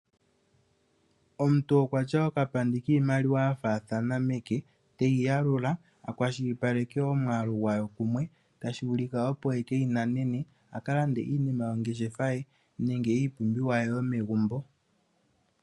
Omuntu oku na okapandi kiimaliwa ya faathana meke, teyi yalula a kwashilipaleke omwaalu gwayo kumwe. Otashi vulika opo e keyi nanene, a ka lande iinima yongeshefa ye nenge iipumbiwa ye yomegumbo.